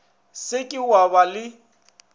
se ke wa ba le